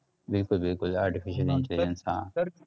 बिलकुल बिलकुल aritficial intelligence हा